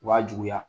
Wa juguya